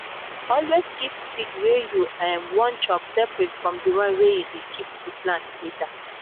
always keep seed wey you um wan chop separate from the one wey you dey keep to plant later.